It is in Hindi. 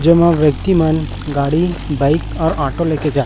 जमा व्यक्ति मन गाड़ी बाइक और ऑटो ले के जा--